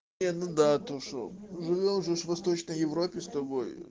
и ну да то что живём же в восточной европе с тобой